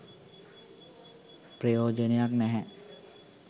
ප්‍රයෝජනයක් නැහැ.